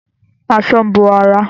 Aṣọ ń bo ara